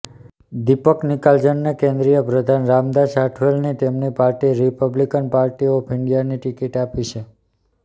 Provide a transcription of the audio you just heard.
દીપક નિકાલજને કેન્દ્રીય પ્રધાન રામદાસ આઠવલેની તેમની પાર્ટી રિપબ્લિકન પાર્ટી ઓફ ઈન્ડિયાની ટિકિટ આપી છે